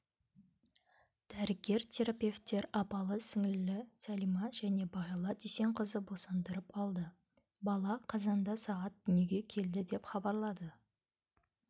дәрігер-терапевттер апалы-сіңлілі сәлима және бағила дүйсенқызы босандырып алды бала қазанда сағат дүниеге келді деп хабарлады